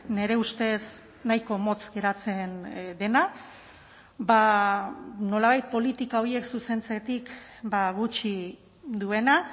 nire ustez nahiko motz geratzen dena ba nolabait politika horiek zuzentzetik gutxi duena